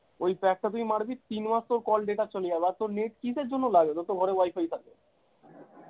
ঐ pack টা তুই মারবি তিনমাস তোর call data চলে যাবে আর তোর net কিসের জন্য লাগে রে তোর ঘরে wi-fi থাকতে